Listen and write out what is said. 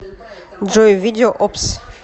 джой видео опс